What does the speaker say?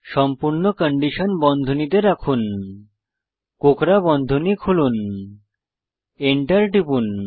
সম্পূর্ণ কন্ডিশন বন্ধনীতে রাখুন কোঁকড়া বন্ধনী খুলুন enter টিপুন